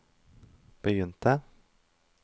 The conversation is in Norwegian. begynte